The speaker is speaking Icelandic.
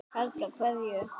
Helga: Hverju?